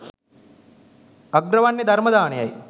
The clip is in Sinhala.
අග්‍රවන්නේ ධර්ම දානයයි.